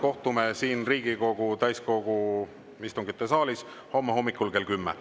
Kohtume siin Riigikogu täiskogu istungite saalis homme hommikul kell 10.